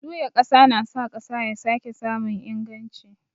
Juya ƙasa na sa ƙasa ya sake samun inganci.